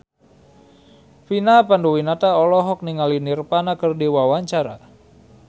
Vina Panduwinata olohok ningali Nirvana keur diwawancara